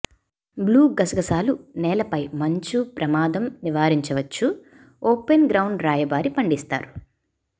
blue గసగసాలు నేలపై మంచు ప్రమాదం నివారించవచ్చు ఓపెన్ గ్రౌండ్ రాయబారి పండిస్తారు